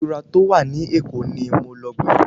Ilé ìtura tó wà ní Èkó ni mo lọ gbẹ̀yìn.